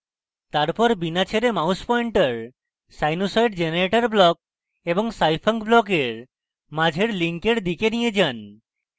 তারপর বিনা ছেড়ে mouse pointer sinusoid generator block এবং scifunc ব্লকের মাঝের link দিকে নিয়ে then